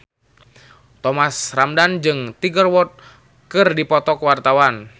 Thomas Ramdhan jeung Tiger Wood keur dipoto ku wartawan